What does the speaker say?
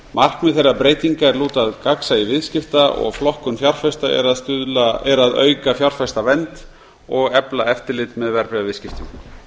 markmið þeirra breytinga er lúta að gagnsæi viðskipta og flokkun fjárfesta er að auka fjárfestavernd og efla eftirlit með verðbréfaviðskiptum